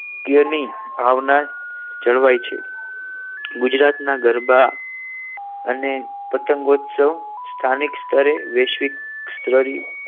એની ભાવના જળવાઈ છે ગુજરાતના ગરબા અને પતંગ ઉત્સવ સ્થાનિક સ્તરે વૈશ્વિક ધરી